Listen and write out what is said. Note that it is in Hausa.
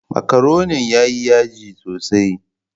Makaroni yayi yaji sosai.